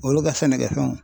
Olu ka sɛnɛkɛfɛnw